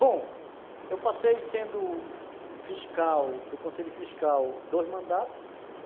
Bom, eu passei sendo fiscal, do Conselho Fiscal, dois mandatos.